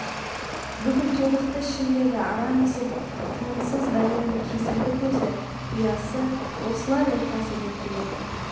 бүкіл тобықты ішіндегі арам есеп тынымсыз бәленің кесірлі көзі ұясы осылар ортасы деп біледі